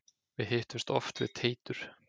Við hittumst oft við Teitur.